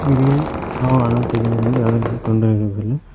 ಇಲ್ಲಿ ಆ ನಾಲಕ್ಕು ಜನರಿಂದ ಯಾವುದೇ ರೀತಿ ತೊಂದರೆಯಾಗೋದಿಲ್ಲ.